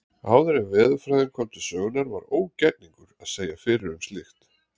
Áður en veðurfræðin kom til sögunnar var ógerningur að segja fyrir um slíkt.